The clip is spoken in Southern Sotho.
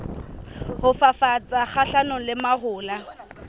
ho fafatsa kgahlanong le mahola